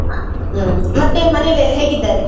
ಆ ಹ್ಮ್ ಮತ್ತೆ ಮನೇಲೆಲ್ಲಾ ಹೇಗಿದ್ದಾರೆ?